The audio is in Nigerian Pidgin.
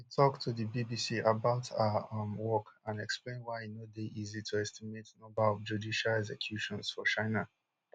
she tok to di bbc about her um work and explain why e no dey easy to estimate number of judicial executions for china